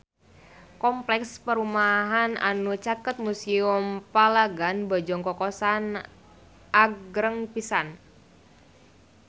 Kompleks perumahan anu caket Museum Palagan Bojong Kokosan agreng pisan